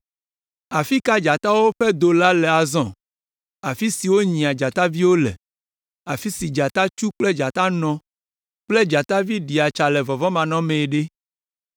Afi ka dzatawo ƒe do la le azɔ? Afi si wonyia dzataviwo le, afi si dzatatsu kple dzatanɔ kple dzatavi ɖia tsa le vɔvɔ̃manɔmee ɖe?